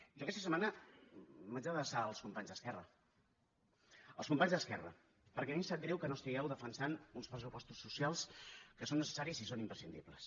jo aquesta setmana m’haig d’adreçar als companys d’esquerra als companys d’esquerra perquè a mi em sap greu que no estigueu defensant un pressupostos socials que són necessaris i són imprescindibles